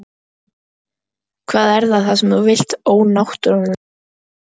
Hvað er það sem þú vilt ónáttúran þín?